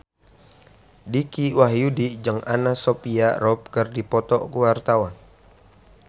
Dicky Wahyudi jeung Anna Sophia Robb keur dipoto ku wartawan